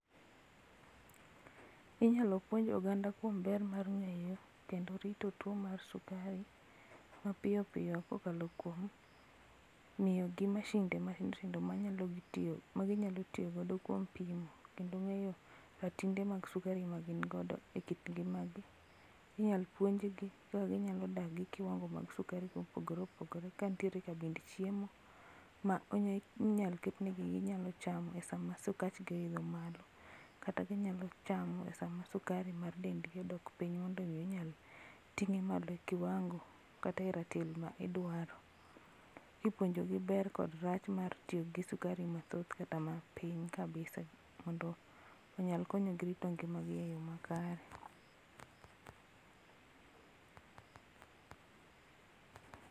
Inyalo puonj oganda kuom ber mar ng'eyo kendo rito to mar sukari mapiyo piyo kokalo kuom miyo gi mashinde matindo tindo ma ginyalo tiyo go kuom pimo kendo ng'eyo ratinde mag sukari ma gin godo e kit ngimagi. Inyal puonj gi kaka ginyalo dak gi kiwango mag sukari mopogore opogore kantiere kabind chiemo ma inyal ketnegi ginyalo chama esama sukach gi oidho malo kata ginyalo chamo sama sukari mar dendgi odok piny mondo mi inyal ting'e mao kiwango kata e ratil ma idwaro kipuonjo gi ber kod rach mar tiyo gi sukari mathoth kata matin kabisa mondo onyalo konyogi rito ngimagi eyoo makare